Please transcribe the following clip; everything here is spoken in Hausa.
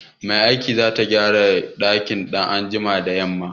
Mai aikin zata gyara dakin in an jima da yamma.